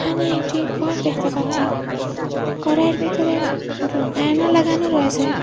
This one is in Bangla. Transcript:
এখানে একটি ঘর দেখতে পাচ্ছি ঘরের ভিতরে আয়না লাগানো রয়েসে।